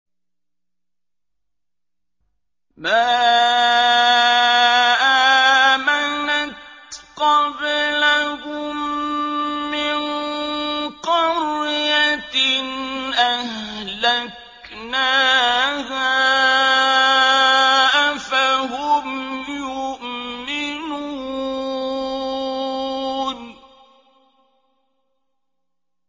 مَا آمَنَتْ قَبْلَهُم مِّن قَرْيَةٍ أَهْلَكْنَاهَا ۖ أَفَهُمْ يُؤْمِنُونَ